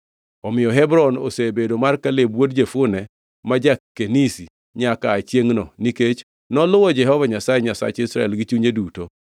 Omiyo Hebron osebedo mar Kaleb wuod Jefune ma ja-Kenizi nyaka aa chiengʼno, nikech noluwo Jehova Nyasaye, Nyasach Israel, gi chunye duto.